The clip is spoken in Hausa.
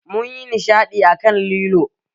Mun yi nishadi a kan lilo